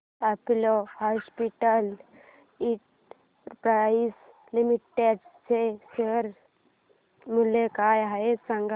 Apollo hospitals enterprise limited चे share मूल्य काय आहे सांगा